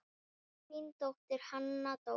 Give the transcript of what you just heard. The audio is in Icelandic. Þín dóttir, Hanna Dóra.